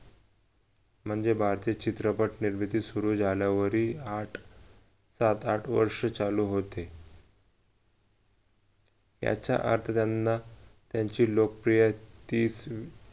म्हणजे भारतीय चित्रपट निर्मिती सुरु झाल्यावरही आठ सात आठ वर्ष चालू होते याचा अर्थ त्याना त्याची लोकप्रिय ती